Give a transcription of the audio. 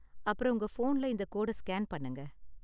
அப்பறம் உங்க ஃபோன்ல இந்த கோட ஸ்கேன் பண்ணுங்க